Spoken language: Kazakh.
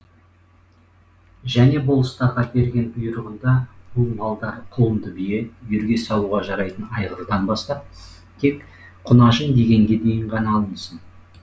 және болыстарға берген бұйрығында бұл малдар құлынды бие үйірге салуға жарайтын айғырдан бастап тек құнажын дегенге дейін ғана алынсын